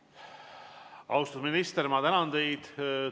Austatud minister, ma tänan teid!